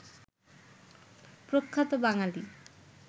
প্রখ্যাত বাঙালি